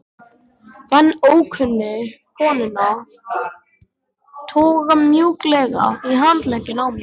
Fann ókunnu konuna toga mjúklega í handlegginn á mér